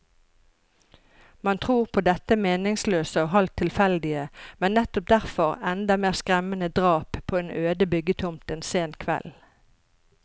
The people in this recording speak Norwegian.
Man tror på dette meningsløse og halvt tilfeldige, men nettopp derfor enda mer skremmende drap på en øde byggetomt en sen kveld.